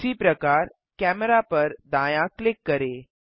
उसी प्रकार कैमेरा पर दायाँ क्लिक करें